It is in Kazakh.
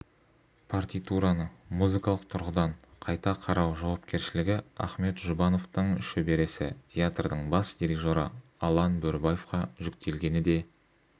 партитураны музыкалық тұрғыдан қайта қарау жауапкершілігі ахмет жұбановтың шөбересі театрдың бас дирижері алан бөрібаевқа жүктелгені де